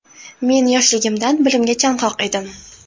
Men yoshligimdan bilimga chanqoq edim.